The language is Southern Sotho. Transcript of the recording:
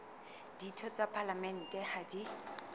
ditho tsa palamente ha di